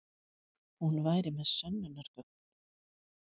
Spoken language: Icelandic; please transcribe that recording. Hún væri með sönnunargögn.